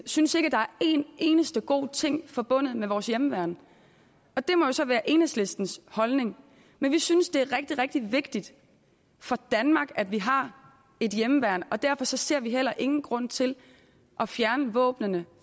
synes at der er en eneste god ting forbundet med vores hjemmeværn det må så være enhedslistens holdning men vi synes det er rigtig rigtig vigtigt for danmark at vi har et hjemmeværn og derfor ser vi heller ingen grund til at fjerne våbnene